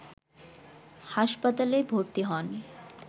হাসপাতলে ভর্তি হন